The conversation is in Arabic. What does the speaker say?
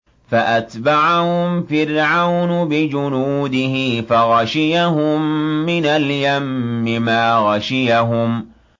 فَأَتْبَعَهُمْ فِرْعَوْنُ بِجُنُودِهِ فَغَشِيَهُم مِّنَ الْيَمِّ مَا غَشِيَهُمْ